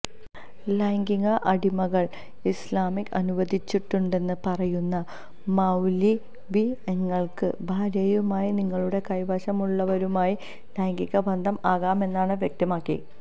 ലൈംഗിക അടിമകള് ഇസ്ലാമില് അനുവദിച്ചിട്ടുണ്ടെന്ന് പറയുന്ന മൌലവി നിങ്ങള്ക്ക് ഭാര്യയുമായും നിങ്ങളുടെ കൈവശമുള്ളവരുമായും ലൈംഗിക ബന്ധം ആകാമെന്ന് വ്യക്തമാക്കി